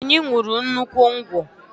Anyị ṅurụ nnukwu ngwọ